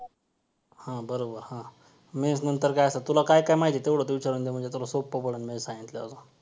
त्या कामांमुळे आता शरीर कमी प्रमाणात हालचाल होत आहे , त्यामुळे मानवाच्या शरीर दिवसान दिवस सुस्थ होत चालले आहे. आणि व्ययामाचे कमतरता त्यामुळे मानवाला अनेक प्रकारच्या आजाराला तोंड द्यावं लागत.